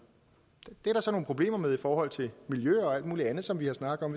det er der så nogle problemer med i forhold til miljø og alt muligt andet som vi har snakket om